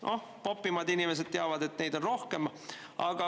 Noh, popimad inimesed teavad, et neid on veel rohkem.